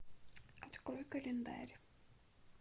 открой календарь